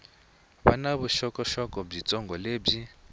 va na vuxokoxoko byitsongo lebyi